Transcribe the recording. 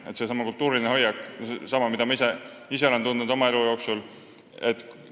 Tähtis on ka see kultuuriline hoiak, seesama, mida ma ise olen oma elu jooksul tundnud.